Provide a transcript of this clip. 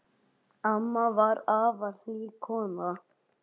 Amma var afar hlý kona.